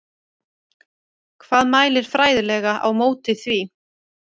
Hvað mælir fræðilega á móti því?